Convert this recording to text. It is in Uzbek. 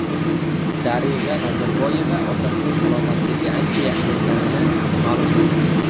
Darig‘a Nazarboyeva otasining salomatligi ancha yaxshilanganini ma’lum qildi.